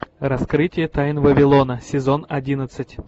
раскрытие тайн вавилона сезон одиннадцать